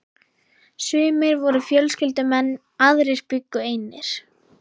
Sumir voru fjölskyldumenn, aðrir bjuggu einir.